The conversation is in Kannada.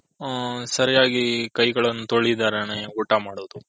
ಹ್ಮ್ ಸರಿಯಾಗಿ ಕೈಗಳನು ತೋಲಿದರನೆ ಊಟ ಮಾಡೋದು.